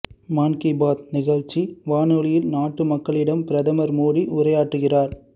மான் கீ பாத் நிகழ்ச்சி வானொலியில் நாட்டுமக்களிடம் பிரதமர் மோடி உரையாற்றுகிறார்